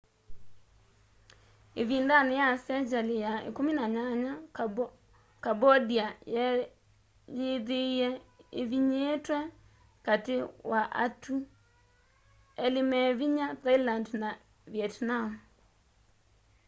ivindani ya sengyali ya 18 cambondia yeeyithiie ivinyiitwe kati wa atu eli me vinya thailand na vietnam